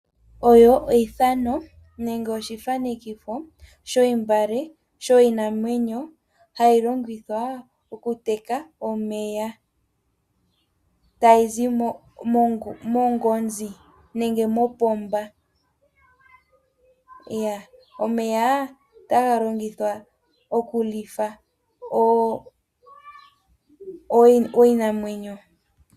Osho oshitholomo nenge oshitholomitho shiiyuma yiinamwenyo hayilongithwa okuteka omeya tagazi mongoma nenge mopomba. Omeya otaga longithwa okulitha iinamwenyo.